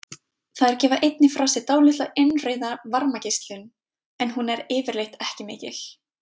Þær gefa einnig frá sér dálitla innrauða varmageislun, en hún er yfirleitt ekki mikil.